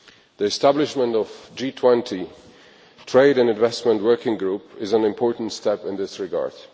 The establishment of the G20 Trade and Investment Working Group is an important step in this regard.